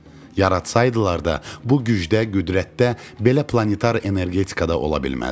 Yaratsaydılar da, bu gücdə, qüdrətdə belə planetar energetikada ola bilməzdi.